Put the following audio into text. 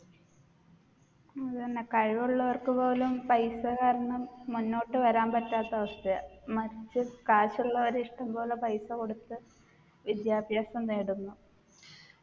അതെന്നെ കഴിവുള്ളവർക്ക് പോലും പൈസ കാരണം മുന്നോട്ട് വരാൻ പറ്റാത്ത അവസ്ഥയാ മറ്റ് കാശുള്ളോർ ഇഷ്ടം പോലെ പൈസ കൊടുത്ത് വിദ്യാഭ്യാസം നേടുന്നു